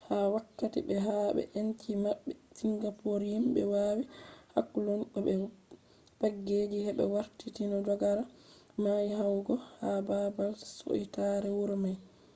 ha wakkati be habe enci mabbe singapor himbe wawi hakkulun go be pageji hebe warti ni dogare mai yahugo ha babal siutare wuro mai